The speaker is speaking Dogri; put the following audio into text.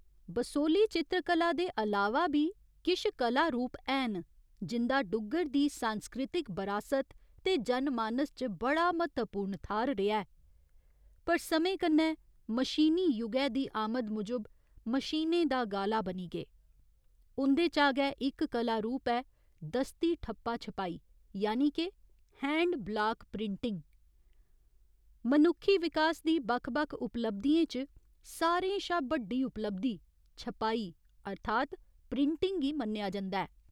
बसोह्‌ली चित्रकला दे अलावा बी किश कला रूप हैन जिं'दा डुग्गर दी सांस्कृतिक बरासत ते जनमानस च बड़ा म्हत्तवपूर्ण थाह्‌र रेहा ऐ पर समें कन्नै मशीनी युगै दी आमद मूजब मशीनें दा गाला बनी गे, उं'दे चा गै इक कला रूप ऐ दस्ती ठप्पा छपाई यानि के हैंड ब्लाक प्रिंटिङ मनुक्खी विकास दी बक्ख बक्ख उपलब्धियें च सारें शा बड्डी उपलब्धि 'छपाई अर्थात् प्रिंटिंग' गी मन्नेआ जंदा ऐ।